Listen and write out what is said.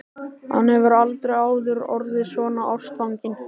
Hann hefur aldrei áður orðið svona ástfanginn.